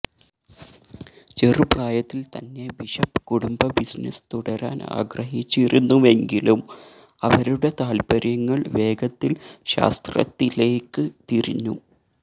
ചെറുപ്രായത്തിൽ തന്നെ ബിഷപ്പ് കുടുംബ ബിസിനസ്സ് തുടരാൻ ആഗ്രഹിച്ചിരുന്നുവെങ്കിലും അവരുടെ താല്പര്യങ്ങൾ വേഗത്തിൽ ശാസ്ത്രത്തിലേക്ക് തിരിഞ്ഞു